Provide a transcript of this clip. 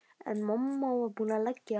En mamma var búin að leggja á.